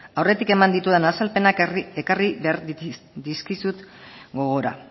aurretik eman ditudan azalpenak ekarri behar dizkizut gogora